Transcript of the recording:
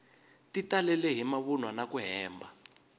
ti talele hi mavunwa naku hemba